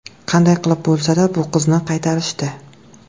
Qanday qilib bo‘lsa-da bu qizni qaytarishdi.